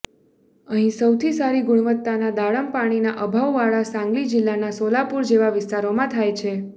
અહીં સૌથી સારી ગુણવત્તાના દાડમ પાણીના અભાવવાળા સાંગલી જિલ્લાના સોલાપુર જેવા વિસ્તારોમાં થાય છે